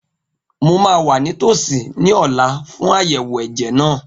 Mo ma wà nítòsí ní ọ̀la fún àyẹ̀wò ẹ̀jẹ̀ náà